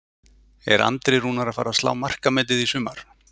Er Andri Rúnar að fara að slá markametið í sumar?